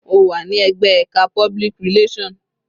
Ó wà ní ẹ̀gbẹ́ ẹka public relation.